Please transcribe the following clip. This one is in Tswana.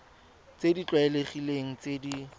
tse di tlwaelegileng tse di